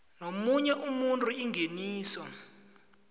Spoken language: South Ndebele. nomunye umuntu ingeniso